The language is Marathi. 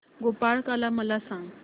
गोपाळकाला मला सांग